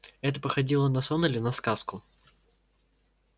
это походило на сон или на сказку